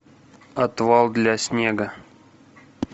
отвал для снега